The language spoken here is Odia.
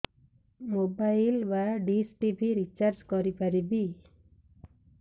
ମୋବାଇଲ୍ ବା ଡିସ୍ ଟିଭି ରିଚାର୍ଜ କରି ପାରିବି